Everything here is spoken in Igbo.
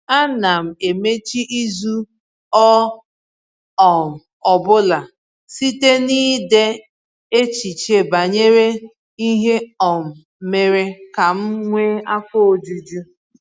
Ana m emechi izu ọ um bụla site n’ide echiche banyere ihe um mere ka m nwee afọ ojuju.